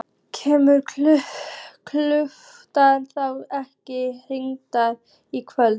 Kemur Gaukur þá ekki hingað í kvöld?